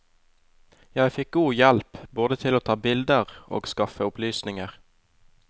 Jeg fikk god hjelp, både til å ta bilder og skaffe opplysninger.